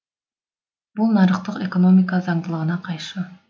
бұл нарықтық экономика заңдылығына қайшы